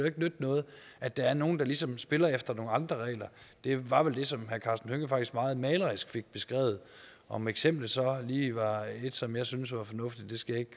ikke nytte noget at der er nogle der ligesom spiller efter nogle andre regler det var vel det som herre karsten hønge faktisk meget malerisk fik beskrevet om eksemplet så lige var et som jeg synes var fornuftigt skal jeg